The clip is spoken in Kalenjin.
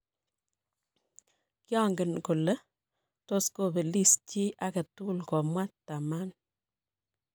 Kiangen kole tos kopelis chi aketul' komwa Thurman